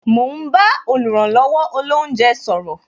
Mo ń bá oluranlowo olounje sọ̀rọ̀